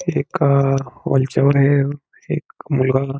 एका हॉल च्या वर हे एक मुलगा--